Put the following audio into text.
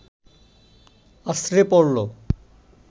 আছড়ে পড়ল